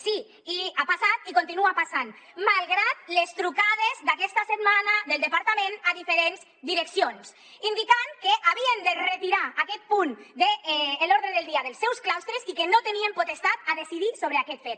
sí ha passat i continua passant malgrat les trucades d’aquesta setmana del departament a diferents direccions indicant que havien de retirar aquest punt de l’ordre del dia dels seus claustres i que no tenien potestat per decidir sobre aquest fet